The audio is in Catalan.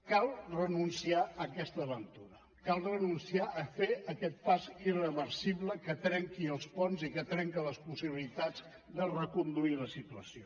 cal renunciar a aquesta aventura cal renunciar a fer aquest pas irreversible que trenqui els ponts i que trenca les possibilitats de reconduir la situació